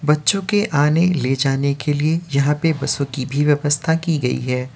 बच्चो के आने ले जाने के लिए यहाँ पे बसों की भी व्यवस्था की गयी है।